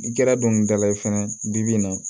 N kɛra dɔnkilidala ye fɛnɛ bi bi in na